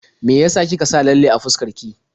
Me ya sa kike sa lalle a fuskar ki?